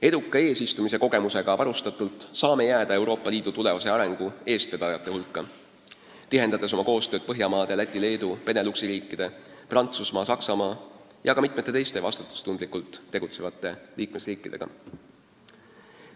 Eduka eesistumise kogemusega varustatult saame jääda Euroopa Liidu tulevase arengu eestvedajate hulka, tihendades oma koostööd Põhjamaade, Läti, Leedu, Beneluxi riikide, Prantsusmaa, Saksamaa ja ka mitme teise vastutustundlikult tegutseva liikmesriigiga.